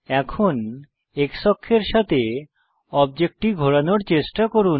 এখন X অক্ষের সাথে অবজেক্টটি ঘোরানোর চেষ্টা করুন